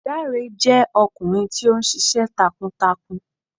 Dàré jẹ ọkunrin ti o ṣiṣẹ takuAgboya jẹ ọkunrin ti o ṣiṣẹ takuǹtakuǹ